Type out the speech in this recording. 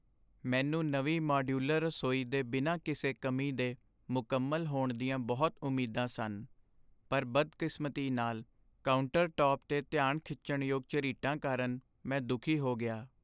ਮੈਨੂੰ ਨਵੀਂ ਮਾਡਿਊਲਰ ਰਸੋਈ ਦੇ ਬਿਨਾਂ ਕਿਸੇ ਕਮੀ ਦੇ ਮੁਕੰਮਲ ਹੋਣ ਦੀਆਂ ਬਹੁਤ ਉਮੀਦਾਂ ਸਨ, ਪਰ ਬਦਕਿਸਮਤੀ ਨਾਲ, ਕਾਊਂਟਰਟੌਪ 'ਤੇ ਧਿਆਨ ਖਿੱਚਣ ਯੋਗ ਝਰੀਟਾਂ ਕਾਰਨ ਮੈਂ ਦੁਖੀ ਹੋ ਗਿਆ।